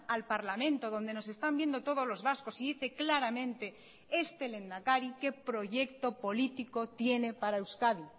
al parlamento donde nos están viendo todos los vascos y dice claramente este lehendakari qué proyecto político tiene para euskadi